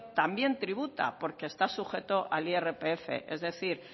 también tributa porque está sujeto al irpf es decir